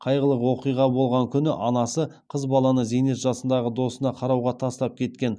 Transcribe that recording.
қайғылы оқиға болған күні анасы қыз баланы зейнет жасындағы досына қарауға тастап кеткен